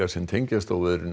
sem tengjast óveðrinu